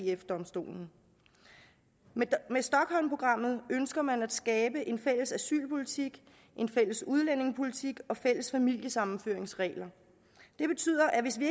eu domstolen med stockholmprogrammet ønsker man at skabe en fælles asylpolitik en fælles udlændingepolitik og fælles familiesammenføringsregler det betyder at hvis vi